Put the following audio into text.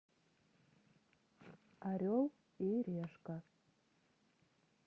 орел и решка